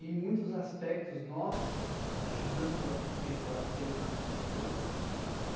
Em muitos aspectos, nós ajudamos a conceituar determinados fatores.